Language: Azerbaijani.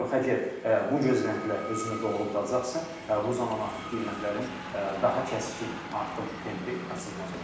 Yox əgər bu gözləntilər özünü doğrulacaqsa, bu zaman artıq qiymətlərin daha kəskin artım tempi qaçılmaz olacaq.